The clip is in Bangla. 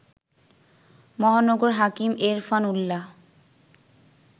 মহানগর হাকিম এরফান উল্লাহ